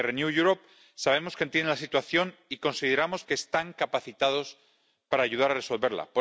Desde Renew Europe sabemos que entienden la situación y consideramos que están capacitados para ayudar a resolverla.